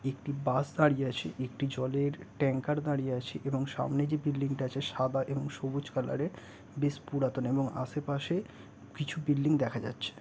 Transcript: একটি বাস দাঁড়িয়ে আছে। একটি জলের ট্যাংকার দাঁড়িয়ে আছে এবং সামনে যে বিল্ডিংটা আছে সাদা এবং সবুজ কালারের বেশ পুরাতন এবং আসে পাশে কিছু বিল্ডিং দেখা যাচ্ছে।